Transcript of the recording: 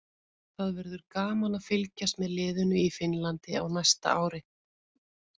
Það verður gaman að fylgjast með liðinu í Finnlandi á næsta ári.